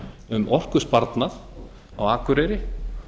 um orkusparnað á akureyri